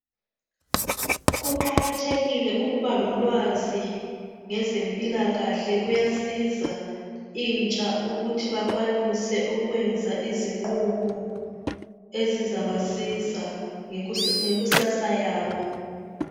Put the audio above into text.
Kuqakathekile ukuba lolwazi ngezempilakahle kuyasiza intsha ukuthi bakwanise ukwenza izinqumo ezizabasiza ngekusasa yabo.